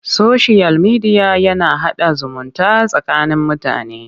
Soshiyal mediya na haɗa zumunta tsakanin mutane.